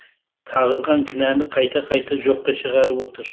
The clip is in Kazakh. тағылған кінәні қайта қайта жоққа шығарып отыр